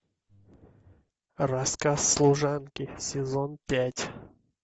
рассказ служанки сезон пять